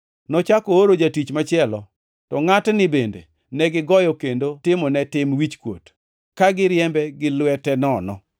Nochako ooro jatich machielo, to ngʼatni bende negigoyo kendo timo ne tim wichkuot, ka giriembe gi lwete nono.